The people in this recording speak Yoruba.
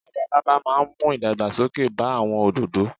Labalábá máa mú ìdàgbà sókè bá àwon òdòdò